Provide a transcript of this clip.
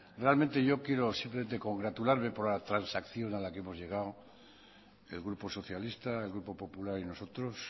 realmente yo quiero simplemente congratularme por la transacción a la que hemos llegado el grupo socialista el grupo popular y nosotros